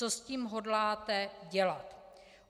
Co s tím hodláte dělat?